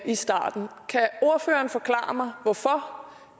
i starten kan ordføreren forklare mig hvorfor